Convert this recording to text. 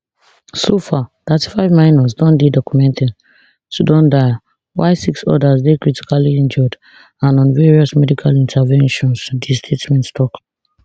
so far thirtyfive minors don dey documented to don die while six odas dey critically injured and on various medical interventions di statement tok